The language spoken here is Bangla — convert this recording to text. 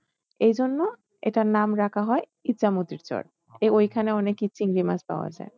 এই জন্য এটার নাম রাখা হয় ইচ্ছামতির চর ওইখানে অনেকেই চিংড়ি মাছ পাওয়ায়।